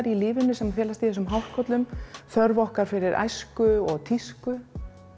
í lífinu sem felast í þessum hárkollum þörf okkar fyrir æsku og tísku